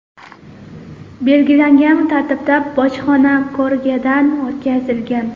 belgilangan tartibda bojxona ko‘rigidan o‘tkazilgan.